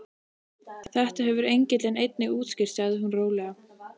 Þetta hefur engillinn einnig útskýrt sagði hún rólega.